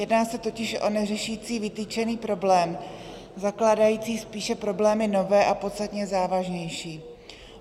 Jedná se totiž o neřešící vytyčený problém, zakládající spíše problémy nové a podstatně závažnější.